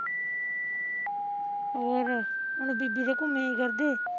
ਹੋਰ, ਹੁਣ ਬੀਬੀ ਦੇ ਘੁਮਿਆ ਈ ਕਰਦੇ